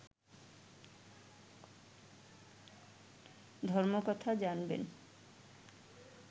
ধর্মকথা জানবেন